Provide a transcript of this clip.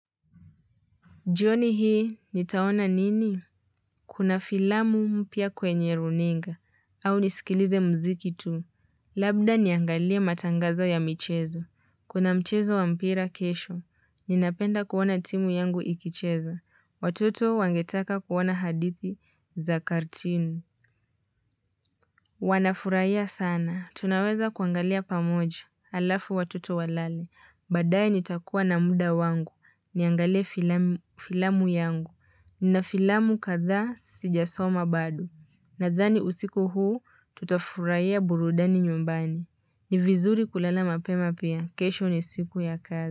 Jioni hii, nitaona nini? Kuna filamu mpya kwenye runinga. Au nisikilize mziki tu. Labda niangalie matangazo ya michezo. Kuna mchezo wa mpira kesho. Ninapenda kuona timu yangu ikicheza. Watoto wangetaka kuona hadithi za kartini. Wanafurahia sana. Tunaweza kuangalia pamoja. Alafu watoto walale. Baadae nitakuwa na muda wangu. Niangalie filamu filamu yangu. Nina filamu kadhaa sijasoma bado. Nadhani usiku huu tutafurahia burudani nyumbani. Nivizuri kulala mapema pia. Kesho ni siku ya kazi.